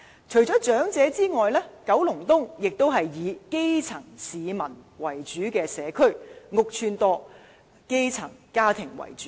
除了長者之外，九龍東也是一個以基層市民為主的社區，公共屋邨多，居民以基層家庭為主。